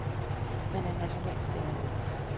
Man er en national stjerne.